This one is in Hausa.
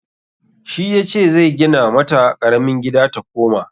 Shi yace zai gina mata ƙaramin gida ta koma.